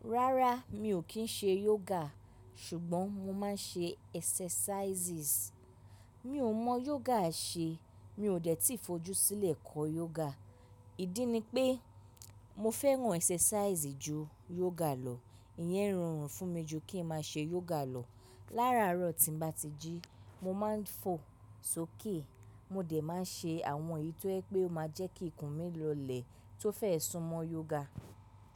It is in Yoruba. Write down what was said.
Rárá mi ò kí ń ṣe yoga ṣùgbọ́n mo máa ń ṣe exercises. Mi ò mọ yoga ṣe mi ò dẹ̀ tí fojú sílẹ̀ kọ́ yoga. Ìdí ni pé mo fẹ́ran exercises ju yoga lọ. Ìyẹn rọrùn fún mi ju kí ń má ṣe yoga lọ. Lára àárọ̀ tí n bá ti jí mo máa ń fò sókè. Mo dẹ̀ má ń ṣe àwọn èyí tó ẹ pé ó máa jẹ́ kí ikùn mi lọlẹ̀ tó fẹ́ sún mọ́ yoga.